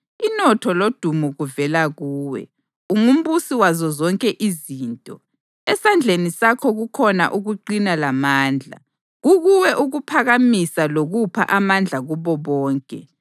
Inotho lodumo kuvela kuwe; ungumbusi wazo zonke izinto. Esandleni sakho kukhona ukuqina lamandla. Kukuwe ukuphakamisa lokupha amandla kubo bonke.